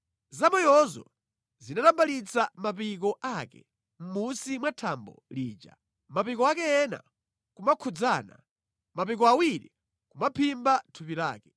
Zamoyozo zinatambalitsa mapiko ake mʼmunsi mwa thambo lija, mapiko ake ena kumakhudzana, mapiko awiri kumaphimba thupi lake.